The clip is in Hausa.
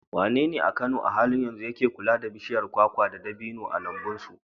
Wanene a Kano a halin yanzu yake kula da bishiyar kwakwa da dabino a lambun su?